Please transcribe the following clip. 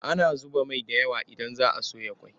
Ana zuba mai da yawa idan za a soya ƙosai.